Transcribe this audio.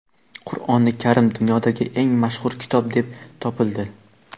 Qur’oni karim dunyodagi eng mashhur kitob deb topildi.